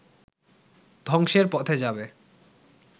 ধ্বংসের পথে যাবে